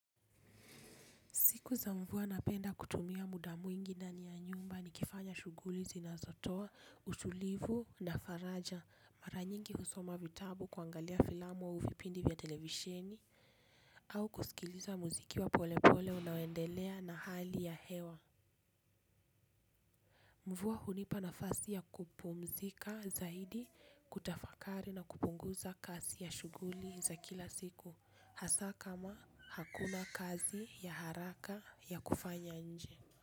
Siku za mvuwa napenda kutumia muda mwingi ndani ya nyumba ni kifanya shughuli zinazotoa utulivu na faraja mara nyingi husoma vitabu kuangalia filamu au vipindi vya televisheni. Au kusikiliza muziki wa pole pole unaoendelea na hali ya hewa. Mvuwa hunipa nafasi ya kupumzika zaidi kutafakari na kupunguza kasi ya shughuli za kila siku hasa kama hakuna kazi ya haraka ya kufanya nje.